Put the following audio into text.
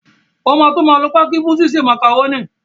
Wọn máa tó máa lo pákí fún ṣíṣe màkàrónì